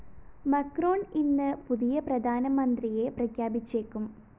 Macron ഇന്ന് പുതിയ പ്രധാനമന്ത്രിയെ പ്രഖ്യാപിച്ചേക്കും